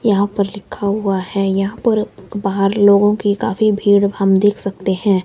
यहां पर लिखा हुआ है यहां पर बाहर लोगों की काफी भीड़ हम देख सकते हैं।